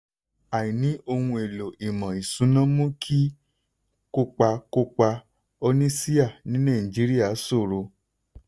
àìní ohun èlò ìmọ̀ ìṣúná mú kí kópa kópa oníṣíà ní nàìjíríà ṣòro.